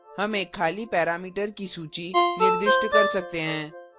हम एक खाली parameter सूची निर्दिष्ट कर सकते हैं